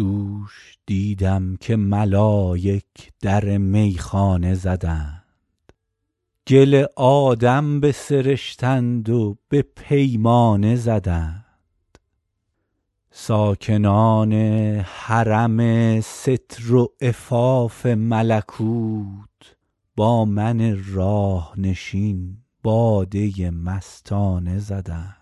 دوش دیدم که ملایک در میخانه زدند گل آدم بسرشتند و به پیمانه زدند ساکنان حرم ستر و عفاف ملکوت با من راه نشین باده مستانه زدند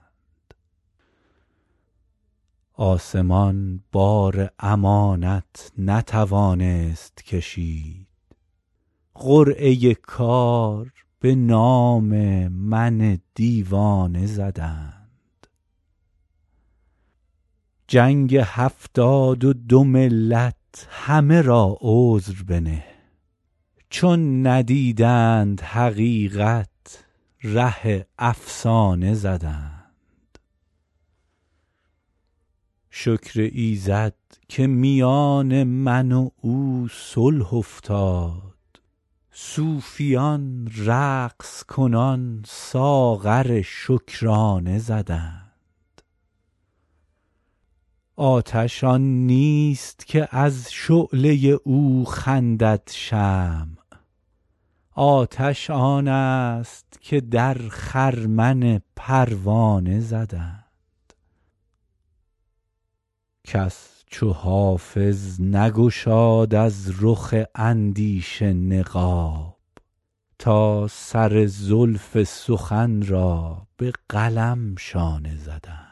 آسمان بار امانت نتوانست کشید قرعه کار به نام من دیوانه زدند جنگ هفتاد و دو ملت همه را عذر بنه چون ندیدند حقیقت ره افسانه زدند شکر ایزد که میان من و او صلح افتاد صوفیان رقص کنان ساغر شکرانه زدند آتش آن نیست که از شعله او خندد شمع آتش آن است که در خرمن پروانه زدند کس چو حافظ نگشاد از رخ اندیشه نقاب تا سر زلف سخن را به قلم شانه زدند